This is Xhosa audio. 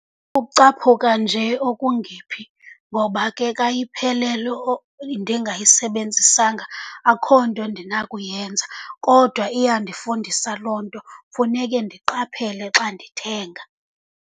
Ukucaphuka nje okungephi, ngoba ke ka iphelelwe ndingayisebenzisanga akukho nto ndinakuyenza. Kodwa iyandifundisa loo nto, funeke ndiqaphele xa ndithenga.